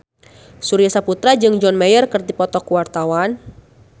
Surya Saputra jeung John Mayer keur dipoto ku wartawan